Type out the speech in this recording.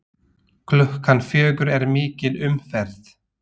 Klukkan fjögur er mikil umferð.